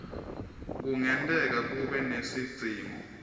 kungenteka kube nesidzingo